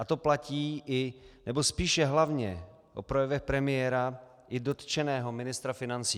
A to platí i ,nebo spíše hlavně, o projevech premiéra i dotčeného ministra financí.